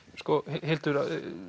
Hildur